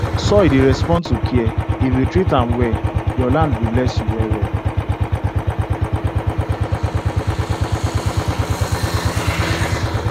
soil dey respond to care if you treat am well your land go bless you well well